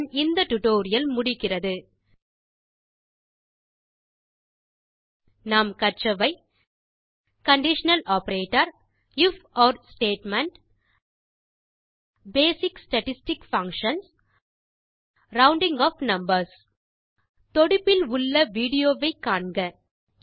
இத்துடன் இந்த டியூட்டோரியல் முடிகிறது நாம் கற்றவை கண்டிஷனல் ஆப்பரேட்டர் ifஒர் statement basic statistic functions rounding off numbers தொடுப்பில் உள்ள விடியோ வை காண்க